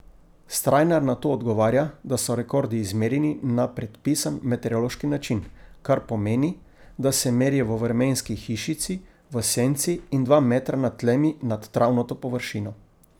Strajnar na to odgovarja, da so rekordi izmerjeni na predpisan meteorološki način, kar pomeni, da se merijo v vremenski hišici, v senci in dva metra nad tlemi nad travnato površino.